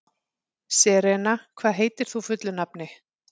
Serena, hvað heitir þú fullu nafni?